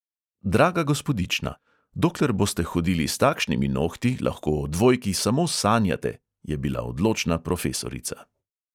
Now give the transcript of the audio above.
"Draga gospodična, dokler boste hodili s takšnimi nohti, lahko o dvojki samo sanjate," je bila odločna profesorica.